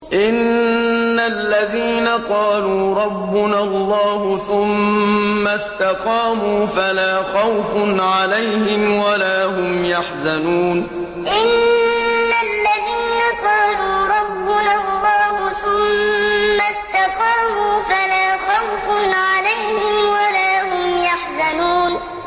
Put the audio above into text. إِنَّ الَّذِينَ قَالُوا رَبُّنَا اللَّهُ ثُمَّ اسْتَقَامُوا فَلَا خَوْفٌ عَلَيْهِمْ وَلَا هُمْ يَحْزَنُونَ إِنَّ الَّذِينَ قَالُوا رَبُّنَا اللَّهُ ثُمَّ اسْتَقَامُوا فَلَا خَوْفٌ عَلَيْهِمْ وَلَا هُمْ يَحْزَنُونَ